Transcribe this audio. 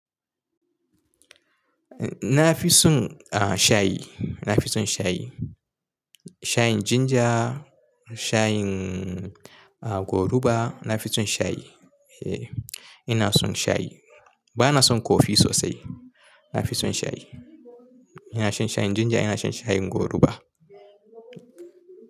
Eh na fi son ah shayi, na fi son shayi. Shayin ginger, shayin ah goruba, na fi son shayi. Eh ina son shayi. Ba na son kofi sosai, na fi son shayi. Nafi son shayi, ina shan shayin ginger, ina shan shayin goruba.